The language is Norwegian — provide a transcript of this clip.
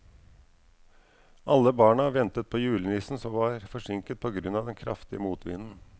Alle barna ventet på julenissen, som var forsinket på grunn av den kraftige motvinden.